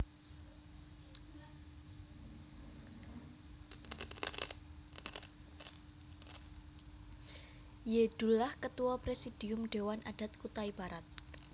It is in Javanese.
Y Dullah Ketua Presidium Dewan Adat Kutai Barat